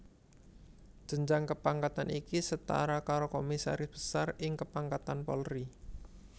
Jenjang kepangkatan iki setara karo Komisaris Besar ing kepangkatan Polri